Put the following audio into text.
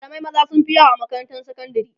malamai maza sunfi yawa a makarantar sakandari